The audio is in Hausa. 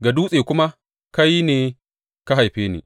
ga dutse kuma, Kai ne ka haife ni.’